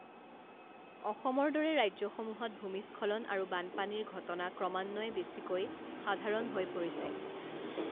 অসমৰ দৰে ৰাজ্যসমূহত ভূমিস্খলন আৰু বানপানীৰ ঘটনা ক্ৰমান্বয়ে বেছিকৈ সাধাৰণ হৈ পৰিছে।